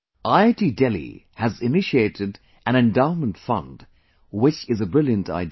IIT Delhi has initiated an endowment fund, which is a brilliant idea